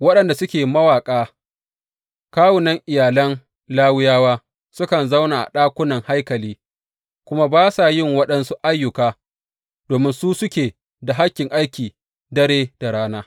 Waɗanda suke mawaƙa, kawunan iyalan Lawiyawa, sukan zauna a ɗakunan haikali kuma ba sa yin waɗansu ayyuka domin su suke da hakkin aiki dare da rana.